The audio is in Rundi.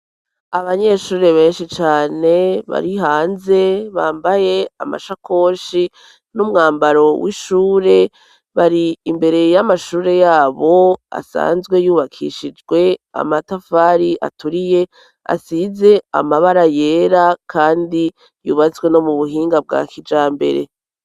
Abanyeshure benshi cane bari hanze bambaye amashakoshi n'umwambaro w'ishure bari imbere y'amashure yabo asanzwe yubakishijwe amatafari aturiye asize amabara yera, kandi yubazwe no mu buhinga bwak ja mbere.